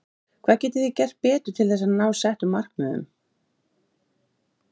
Birta Björnsdóttir: Hvað getið þið gert betur til þess að ná settum markmiðum?